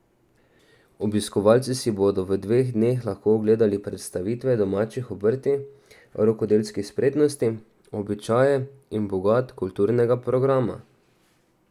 Obiskovalci si bodo v dveh dneh lahko ogledali predstavitve domačih obrti rokodelskih spretnosti, običaje in bogat kulturnega programa.